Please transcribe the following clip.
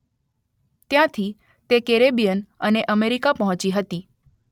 ત્યાંથી તે કેરેબિયન અને અમેરિકા પહોંચી હતી.